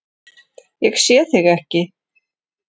Ég sé þig ekki.